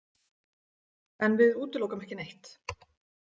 En við útilokum ekki neitt.